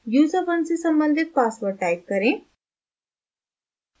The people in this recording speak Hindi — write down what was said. user1 से सम्बंधित password type करें